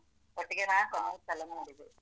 ಒಟ್ಟಿಗೆ ನಾನ್ಸ ಮೂರು ಸಲ ನೋಡಿದೆ.